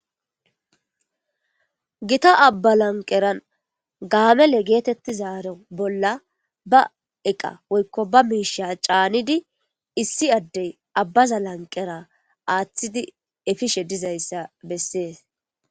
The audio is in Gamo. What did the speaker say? Gitta aba laniqera gamele getitizari bolla ba eqa woy ba misheya canidi issi adey abaza athidi efishe dizayisa beses